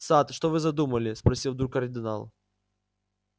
сатт что вы задумали спросил вдруг кардинал